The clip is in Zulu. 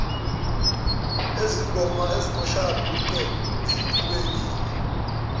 ezingomashayabhuqe ezilokhu ziqhubekile